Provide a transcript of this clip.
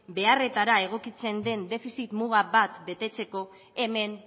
beharretara egokitzen den defizit muga bat betetzeko hemen